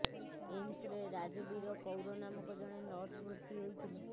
ଏମ୍ସରେ ରାଜବୀର କୌର ନାମକ ଜଣେ ନର୍ସ ଭର୍ତ୍ତି ହୋଇଥିଲେ